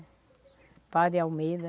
O padre Almeida.